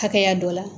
Hakɛya dɔ la